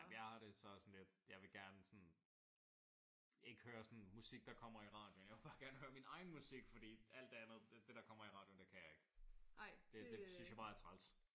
Jeg har det så sådan lidt jeg vil gerne sådan ikke høre sådan musik der kommer i radioen. Jeg vil bare gerne høre min egen musik fordi alt det andet det der kommer i radioen det kan jeg ikke. Det synes jeg bare er træls